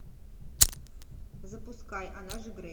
запускай она же грейс